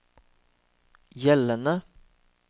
gjeldende